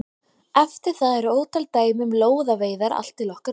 Eftir það eru ótal dæmi um lóðaveiðar allt til okkar tíma.